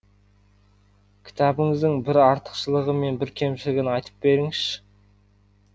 кітабыңыздың бір артықшылығы мен бір кемшілігін айтып беріңізші